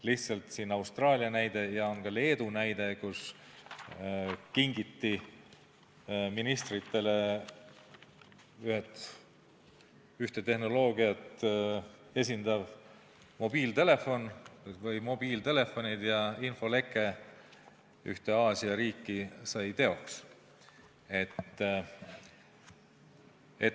Meil on Austraalia näide ja on ka Leedu näide, kus ministritele kingiti teatud tehnoloogiat rakendavad mobiiltelefonid ja teoks sai infoleke ühte Aasia riiki.